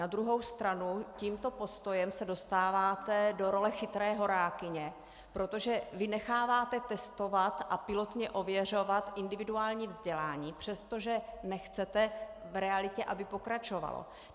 Na druhou stranu tímto postojem se dostáváte do role chytré horákyně, protože vy necháváte testovat a pilotně ověřovat individuální vzdělání, přestože nechcete v realitě, aby pokračovalo.